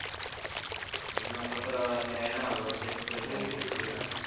बघणा आता तर अं हे आहे ना world test champianship